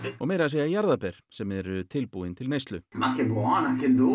og meira að segja jarðarber sem eru tilbúin til neyslu